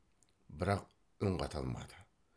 бірақ үн қата алмады